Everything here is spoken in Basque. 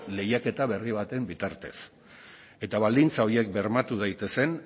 lehiaketa berri baten bitartez eta baldintza horiek bermatu daitezen